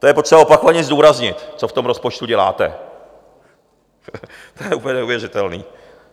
To je potřeba opakovaně zdůraznit, co v tom rozpočtu děláte, to je úplně neuvěřitelné.